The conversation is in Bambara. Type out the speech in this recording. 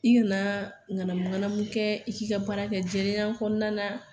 I kana nganamu nganamu kɛ i k'i ka baara kɛ jelenya kɔnɔnan na